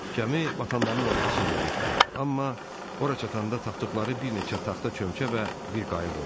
Gəmi batanların arxasınca getdi, amma ora çatanda tapdıqları bir neçə taxta çömçə və bir qayıq oldu.